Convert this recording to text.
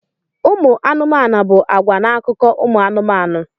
Ụmụ anụmanụ bụ àgwà n'akụkọ ụmụ anụmanụ.